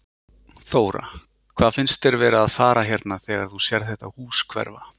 Þóra: Hvað finnst þér vera að fara hérna þegar þú sérð þetta hús hverfa?